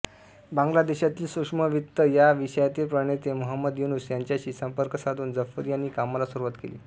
बांग्लादेशातील सूक्ष्मवित्त या विषयातील प्रणेते महंमद युनूस यांच्याशी संपर्क साधून जफर यांनी कामाला सुरूवात केली